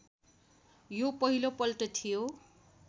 यो पहिलोपल्ट थियो